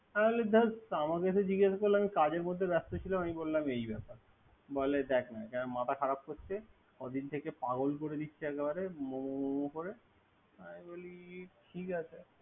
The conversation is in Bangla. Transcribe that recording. তাহলে ধর আমার কাছে জিগেস করে আমি কাজের মধ্যে ব্যাস্ত ছিলাম বললাম এই ব্যাপার। বলে দেখ না মাথা খারাপ করছে। ক দিন থেকে পাগল করে দেচ্ছে মোমো মোমো করে আমি বলি ঠিক আছে।